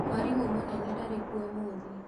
Mwarimũ mũnene ndarĩ kuo ũmũthĩ.